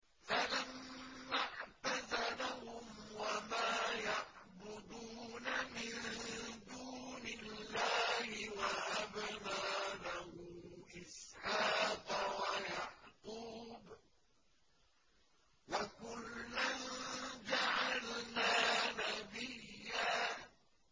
فَلَمَّا اعْتَزَلَهُمْ وَمَا يَعْبُدُونَ مِن دُونِ اللَّهِ وَهَبْنَا لَهُ إِسْحَاقَ وَيَعْقُوبَ ۖ وَكُلًّا جَعَلْنَا نَبِيًّا